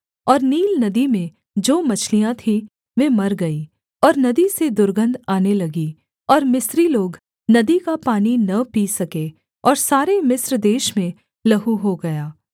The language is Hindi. और नील नदी में जो मछलियाँ थीं वे मर गई और नदी से दुर्गन्ध आने लगी और मिस्री लोग नदी का पानी न पी सके और सारे मिस्र देश में लहू हो गया